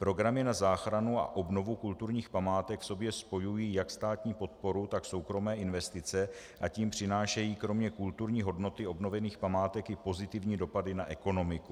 Programy na záchranu a obnovu kulturních památek v sobě spojují jak státní podporu, tak soukromé investice, a tím přinášejí kromě kulturní hodnoty obnovených památek i pozitivní dopady na ekonomiku.